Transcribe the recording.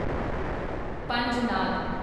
Panjnad